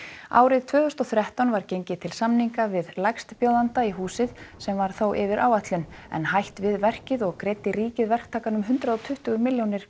árið tvö þúsund og þrettán var gengið til samninga við lægstbjóðanda í húsið sem var þó yfir áætlun en hætt við verkið og greiddi ríkið verktakanum hundrað og tuttugu milljónir